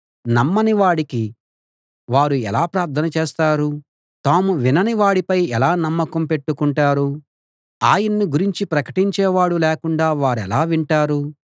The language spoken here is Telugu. నమ్మని వాడికి వారు ఎలా ప్రార్థన చేస్తారు తాము వినని వాడిపై ఎలా నమ్మకం పెట్టుకుంటారు ఆయన్ని గురించి ప్రకటించేవాడు లేకుండా వారెలా వింటారు